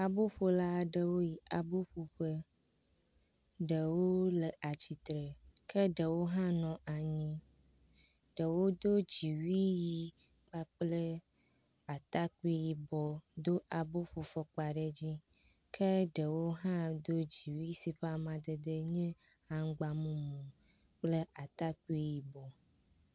Aboƒola aɖewo yi abo ƒo ƒe, ɖewo le atsitre ke ɖewo hã nɔ anyi, ɖewo do dziwui ʋɛ̃ kpakple atakpui yibɔ, do aboƒofɔkpa ɖe dzi. Ke ɖewo hã do dziwui si ke ƒe amadede nye aŋgba mumu kple atakpui yibɔ.